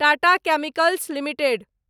Tata chemicals limited